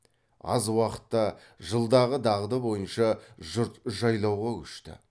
аз уақытта жылдағы дағды бойынша жұрт жайлауға көшті